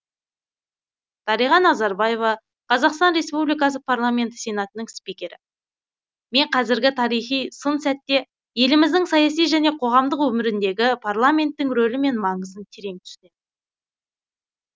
дариға назарбаева қр парламенті сенатының спикері мен қазіргі тарихи сын сәтте еліміздің саяси және қоғамдық өміріндегі парламенттің рөлі мен маңызын терең түсінемін